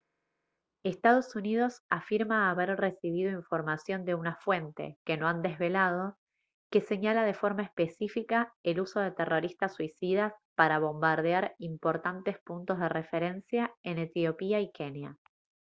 estados unidos afirma haber recibido información de una fuente que no ha desvelado que señala de forma específica el uso de terroristas suicidas para bombardear «importantes puntos de referencia» en etiopía y kenia